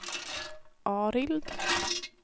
Arild